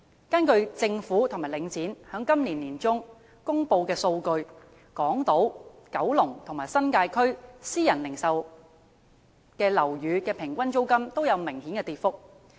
根據政府和領展在今年年中公布的數據，港島、九龍和新界區私人零售樓宇的平均租金均有明顯跌幅。